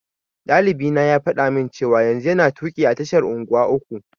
Ɗalibina ya faɗa min cewa yanzu yana tuƙi a tashar unguwa uku.